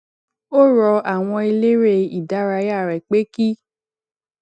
ó rọ àwọn eléré ìdárayá rè pé kí